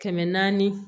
Kɛmɛ naani